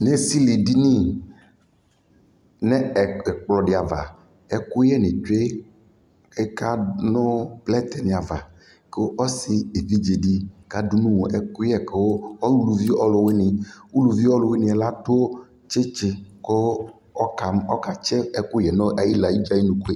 Ezele edini, nʋ ɛplɔdι ava ɛkʋyɛ nι tsue Ɛkanʋ plɛtii ni ava kʋ ɔsi evidzedι kadʋ nʋ wɔ ɛkʋyɛ kʋ uluvi ɔlʋwini Uluvi ɔlʋwini yɛ la adʋ tsitsi kʋ ɔka ɔkatsi ɛkʋyɛ dʋ ayʋla ayʋidza ayʋunuku yɛ